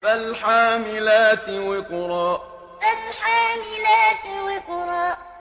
فَالْحَامِلَاتِ وِقْرًا فَالْحَامِلَاتِ وِقْرًا